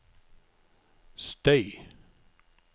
støy